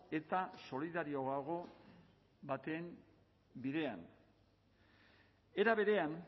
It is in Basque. eta solidarioago baten bidean era berean